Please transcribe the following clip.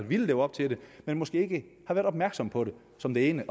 ville leve op til det men måske ikke har været opmærksom på det som det ene